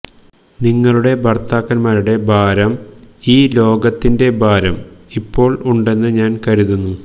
നിങ്ങളുടെ ഭർത്താക്കൻമാരുടെ ഭാരം ഈ ലോകത്തിൻറെ ഭാരം ഇപ്പോൾ ഉണ്ടെന്ന് ഞാൻ കരുതുന്നു